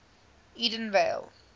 edenvale